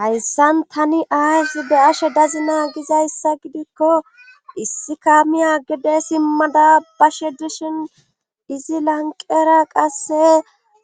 Hayssan tani aysi be ashe dazina gizayssa gidikko issi kaamiya gide simmada bashe dishin izi lanqera qasse